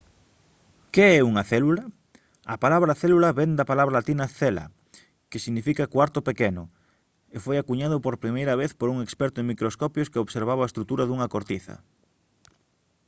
que é unha célula? a palabra célula vén da palabra latina «cella» que significa «cuarto pequeno» e foi acuñada por primeira vez por un experto en microscopios que observaba a estrutura dunha cortiza